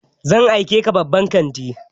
Zan aike ka babban kantin!